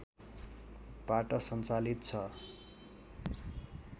बाट सञ्चालित छ